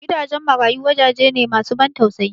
Gidajen marayu wajaje ne masu ban tausayi